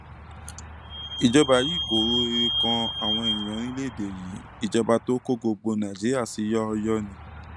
ìjọba yìí kò ro rere kan àwọn èèyàn orílẹèdè yìí ìjọba tó kó gbogbo nàìjíríà sí yọọyọọ ni